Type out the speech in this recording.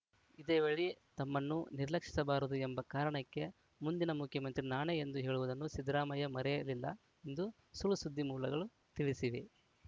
ಇದೇ ವೇಳೆ ತಮ್ಮನ್ನು ನಿರ್ಲಕ್ಷಿಸಬಾರದು ಎಂಬ ಕಾರಣಕ್ಕೆ ಮುಂದಿನ ಮುಖ್ಯಮಂತ್ರಿ ನಾನೇ ಎಂದು ಹೇಳುವುದನ್ನು ಸಿದ್ದರಾಮಯ್ಯ ಮರೆಯಲಿಲ್ಲ ಎಂದು ಸುಳ್‌ಸುದ್ದಿ ಮೂಲಗಳು ತಿಳಿಸಿವೆ